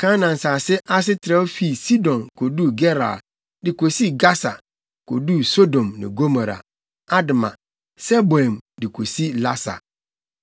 Kanaan nsase ahye trɛw fii Sidon koduu Gerar de kosii Gasa koduu Sodom ne Gomora, Adma, Seboim de kosi Lasa.